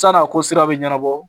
San'a ko sira bɛ ɲɛnabɔ